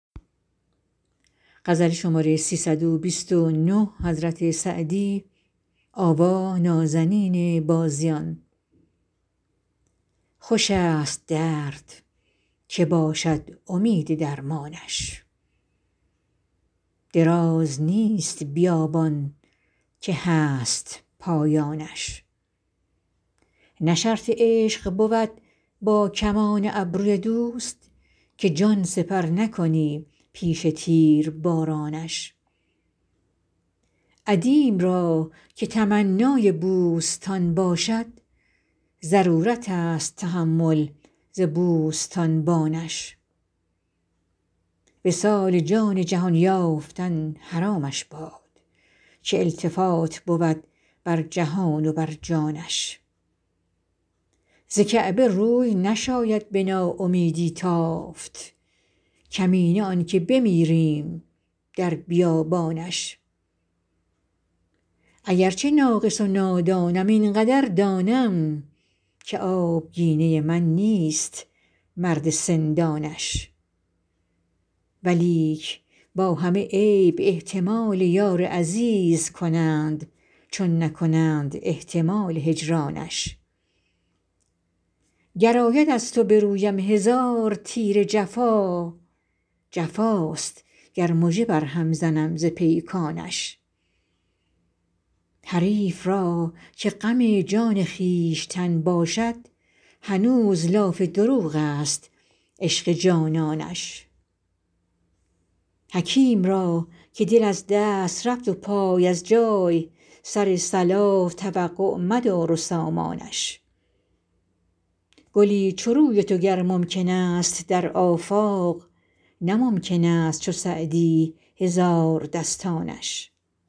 خوش است درد که باشد امید درمانش دراز نیست بیابان که هست پایانش نه شرط عشق بود با کمان ابروی دوست که جان سپر نکنی پیش تیربارانش عدیم را که تمنای بوستان باشد ضرورت است تحمل ز بوستانبانش وصال جان جهان یافتن حرامش باد که التفات بود بر جهان و بر جانش ز کعبه روی نشاید به ناامیدی تافت کمینه آن که بمیریم در بیابانش اگر چه ناقص و نادانم این قدر دانم که آبگینه من نیست مرد سندانش ولیک با همه عیب احتمال یار عزیز کنند چون نکنند احتمال هجرانش گر آید از تو به رویم هزار تیر جفا جفاست گر مژه بر هم زنم ز پیکانش حریف را که غم جان خویشتن باشد هنوز لاف دروغ است عشق جانانش حکیم را که دل از دست رفت و پای از جای سر صلاح توقع مدار و سامانش گلی چو روی تو گر ممکن است در آفاق نه ممکن است چو سعدی هزاردستانش